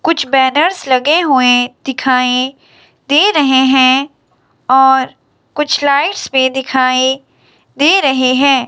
कुछ बैनर्स लगे हुए दिखाई दे रहे हैं और कुछ लाइट्स भी दिखाई दे रहे हैं।